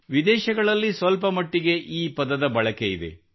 ವಿದೇಶಗಳಲ್ಲಿ ಸ್ವಲ್ಪಮಟ್ಟಿಗೆ ಈ ಪದದ ಬಳಕೆಯಿದೆ